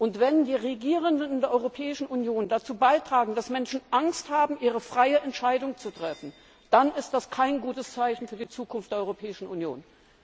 Und wenn die Regierenden in der Europäischen Union dazu beitragen, dass Menschen Angst haben, ihre freie Entscheidung zu treffen, dann ist das kein gutes Zeichen für die Zukunft der Europäischen Union.